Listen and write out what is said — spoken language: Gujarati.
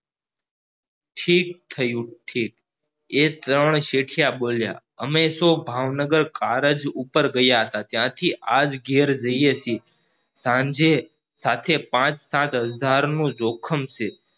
ઠીક થયું ઠીક એ ત્રણ શેઠિયા બોલ્યા અમે તો ભાવનગર કાલ જ ઉપર ગયા તા ત્યાંથી આજ ઘેર જઈએ છે સાંજે સાથે પાંચ સાત હજાર નું જોખમ છે